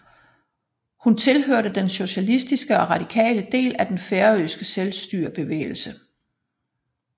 Hun tilhørte den socialistiske og radikale del af den færøske selvstyrebevægelse